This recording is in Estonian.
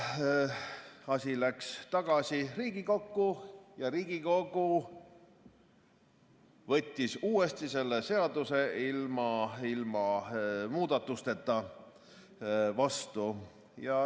Asi läks tagasi Riigikokku ja Riigikogu võttis uuesti selle seaduse ilma muudatusteta vastu.